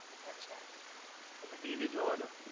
અચ્છા તમે ટીવી જોવો છો.